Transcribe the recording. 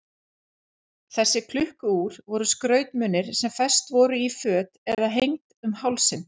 Þessi klukku-úr voru skrautmunir sem fest voru í föt eða hengd um hálsinn.